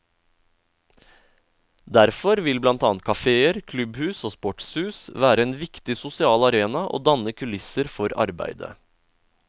Derfor vil blant annet kaféer, klubbhus og sportshus være en viktig sosial arena, og danne kulisser for arbeidet.